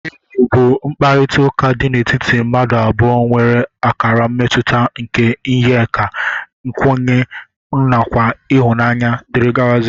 Enyi bu mkpakọrita di n'etiti mmadu abụọ nwere akara mmetuta nke iyeaka ,nkwanye nakwa ihunanya dgz.